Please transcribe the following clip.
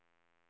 Sköllersta